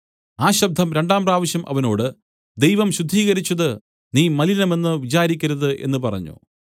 ആ ശബ്ദം രണ്ടാം പ്രാവശ്യം അവനോട് ദൈവം ശുദ്ധീകരിച്ചത് നീ മലിനമെന്നു വിചാരിക്കരുത് എന്നു പറഞ്ഞു